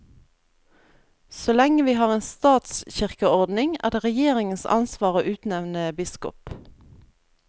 Så lenge vi har en statskirkeordning, er det regjeringens ansvar å utnevne biskop.